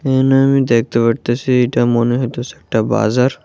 এনানে আমি দেখতে পারতাসি এটা মনে হইতাসে একটা বাজার।